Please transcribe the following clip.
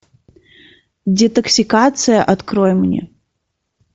детоксикация открой мне